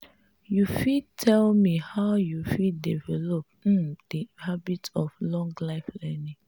you fit tell me how you fit develop um di habit of lifelong learning?